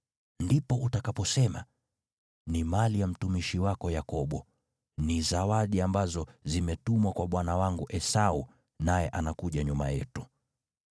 Ndipo utakaposema, ‘Ni mali ya mtumishi wako Yakobo. Ni zawadi ambazo zimetumwa kwa bwana wangu Esau, naye anakuja nyuma yetu.’ ”